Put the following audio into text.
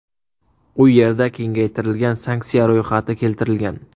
U yerda kengaytirilgan sanksiya ro‘yxati keltirilgan.